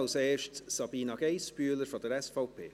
Als Erstes Sabina Geissbühler von der SVP.